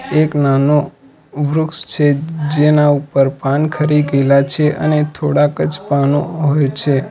એક નાનુ વૃક્ષ છે જેના ઉપર પાન ખરી ગેલા છે અને થોડાક જ પાનો હોય છે.